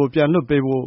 ကို ပြန်လွှတ်ပေးဖို့